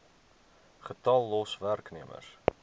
getal los werknemers